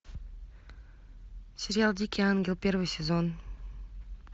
сериал дикий ангел первый сезон